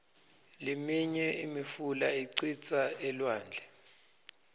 liminye imifula icitsa elwandle